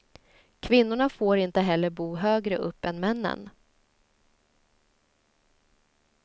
Kvinnorna får inte heller bo högre upp än männen.